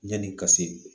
Yanni ka se